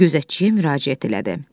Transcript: Gözətçiyə müraciət elədi.